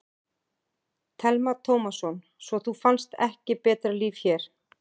Telma Tómasson: Svo þú fannst ekki betra líf hér?